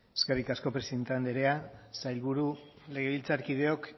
eskerrik asko presidente andrea sailburu legebiltzarkideok